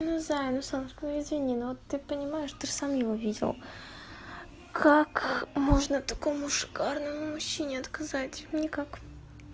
ну зая ну солнышко ну извини ну ты понимаешь ты ж сам его видел как можно такому шикарному мужчине отказать никак